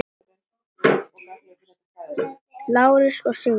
Lárus og Sigrún.